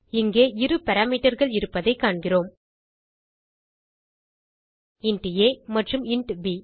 இங்கே இரு parameterகள் இருப்பதைக் காண்கிறோம் இன்ட் ஆ மற்றும் இன்ட் ப்